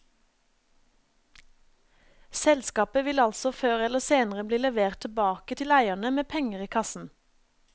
Selskapet vil altså før eller senere bli levert tilbake til eierne med penger i kassen.